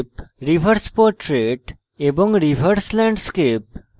reverse portrait এবং reverse landscape